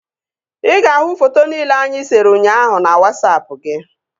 Ị ga-ahụ foto nile anyị sere ụnyaahụ na Wasapụ gị